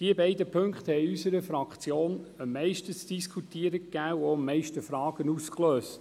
Diese beiden Punkte gaben in unserer Fraktion am meisten zu diskutieren und lösten die meisten Fragen aus: